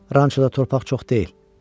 Ranço da torpaq çox deyil.